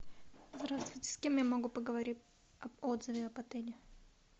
здравствуйте с кем я могу поговорить об отзыве об отеле